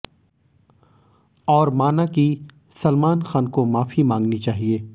और माना कि सलमान खान को माफी मांगनी चाहिए